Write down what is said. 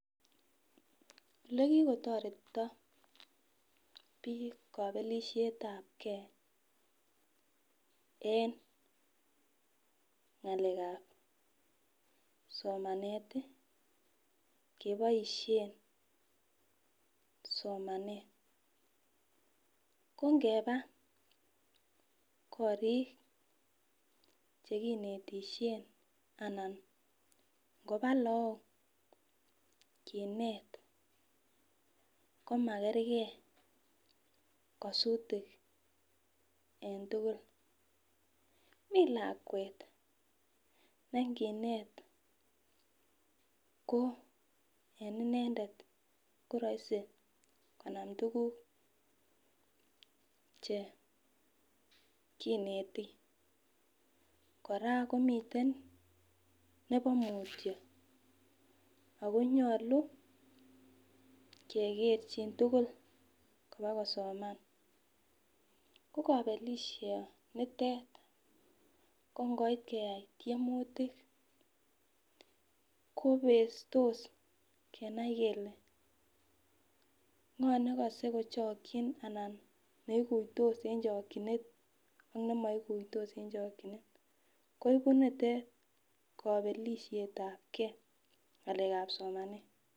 Ole kikotoretito bik kopelishetabgee enngalekab somanet tii koboishen somanet ko ngeba Korik chekinetishen anan koba lok kinet komakergee kosutik en tukuk. Mii lakwet nenginet ko en inendet ko roisi anan tukuk chekineti koraa komiten nebo mutyo ako nyolu kekerchin tukul kobakosomen ko kobelisho nitet ko ngoit keyai tyemutik kobestos kenai kele ngo nekose kochokin anan neikuitos en chokinet ak nemoikuitos en chokinet ko ibu nitet kopelishetabgee en ngalekab somanet.